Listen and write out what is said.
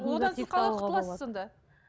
одан сіз қалай құтыласыз сонда